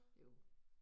Jo